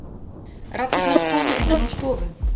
Raddirnar komu innan úr stofu.